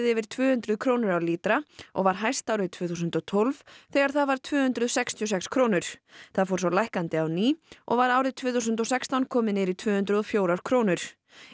yfir tvö hundruð krónur á lítra og var hæst árið tvö þúsund og tólf þegar það var tvö hundruð sextíu og sex krónur það fór svo lækkandi á ný og var árið tvö þúsund og sextán komið niður í tvö hundruð og fjórar krónur